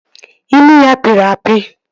Imi ya pịrị apị